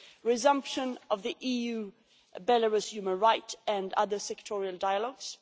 resumption of the EU Belarus human rights and other sectoral dialogues